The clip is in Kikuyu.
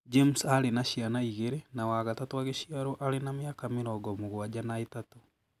James arĩ na ciana igĩrĩ na wa gatatũ agĩciarũo arĩ na mĩaka mĩrongo mũgwanja na ĩtatũ.